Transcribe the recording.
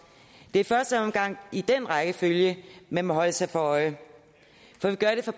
det er i første omgang den rækkefølge man må holde sig for øje